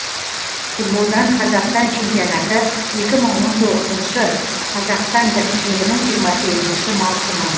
футболдан қазақстан чемпионаты екі мың он тоғызыншы қазақстан біріншілігінің жиырма сегізінші маусымы